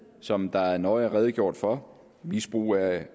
som der nøje er redegjort for misbrug af